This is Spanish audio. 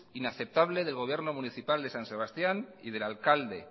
inaceptable del gobierno municipal de san sebastián y del alcalde